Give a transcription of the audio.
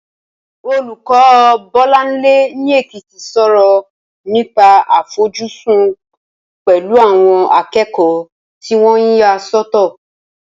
Olùkọ́ Bọ́láńlé ní Èkìtì sọ̀rọ̀ nípa àfojúsùn pẹ̀lú àwọn akẹ́kọ̀ọ́ tí wọ́n yà sọ́tọ̀